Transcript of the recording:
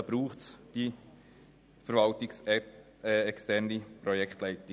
Hierzu braucht es die verwaltungsexterne Projektleitung.